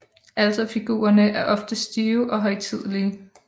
Alterfigurerne er ofte stive og højtidelige